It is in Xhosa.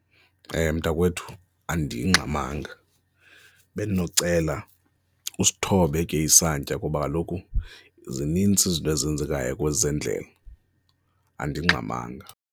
Mntakwethu, andingxamanga bendinocela usithobe ke isantya kuba kaloku zinintsi izinto ezenzekayo kwezendlela, andingxamanga.